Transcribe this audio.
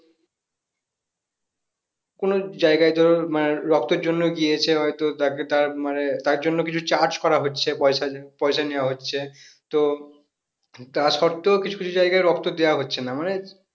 কোন জায়গায় ধরো মানে রক্তের জন্য গিয়েছে হয়তো তাকে তার মানে তার জন্য কিছু charge করা হচ্ছে পয়সা পয়সা নেয়া হচ্ছে তো তা সত্ত্বেও কিছু কিছু জায়গায় রক্ত দেওয়া হচ্ছে না মানে